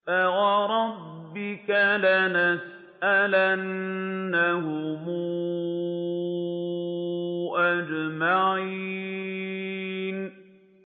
فَوَرَبِّكَ لَنَسْأَلَنَّهُمْ أَجْمَعِينَ